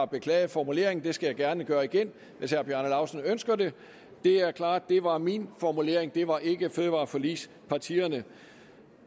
beklager formuleringen og det skal jeg gerne gøre igen hvis herre bjarne laustsen ønsker det det er klart at det var min formulering det var ikke fødevareforligspartiernes